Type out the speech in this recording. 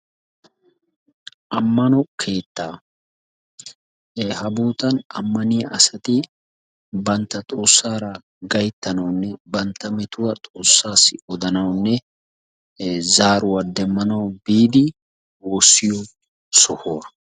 Ammano keettaa, ha boottan ammaniya asati bantta xoossara gayttanawunne bantta metuwaa xoossawu odanaw biidi woossiyo sohuwaa.